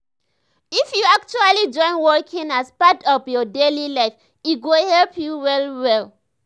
if you actually join walking as part of your daily life e go help you well well.